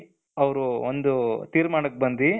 ಅವರು ಒಂದು ತೀರ್ಮಾನಕ್ಕೆ ಬಂದಿ,